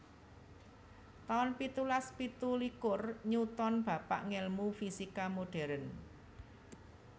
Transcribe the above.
taun pitulas pitu likur Newton bapak ngèlmu fisika modern